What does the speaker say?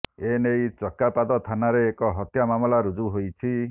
ଏନେଇ ଚକାପାଦ ଥାନାରେ ଏକ ହତ୍ୟା ମାମଲା ରୁଜୁ ହୋଇଛି